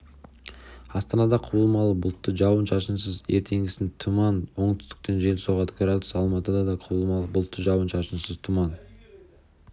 астанада құбылмалы бұлтты жауын-шашынсыз ертеңгісін тұман оңтүстіктен жел соғады градус алматыда да құбылмалы бұлтты жауын-шашынсыз тұман